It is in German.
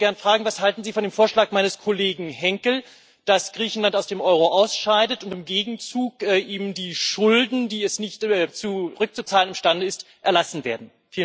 Ich wollte gern fragen Was halten Sie von dem Vorschlag meines Kollegen Henkel, dass Griechenland aus dem Euro ausscheidet und im Gegenzug ihm die Schulden, die es nicht zurückzuzahlen imstande ist, erlassen werden?